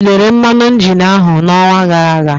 Ị lelere mmanụ injin áhụ n'ọnwa gara aga?